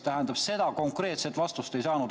Tähendab, seda konkreetset vastust ma ei saanud.